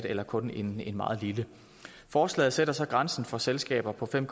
eller kun en meget lille forslaget sætter så grænsen for selskaber på fem